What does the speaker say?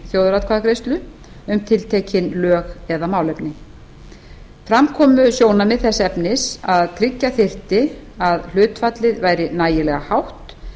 þjóðaratkvæðagreiðslu um tiltekin lög eða málefni fram komu sjónarmið þess efnis að tryggja þyrfti að hlutfallið væri nægilega hátt